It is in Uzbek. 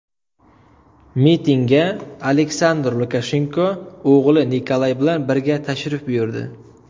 Mitingga Aleksandr Lukashenko o‘g‘li Nikolay bilan birga tashrif buyurdi.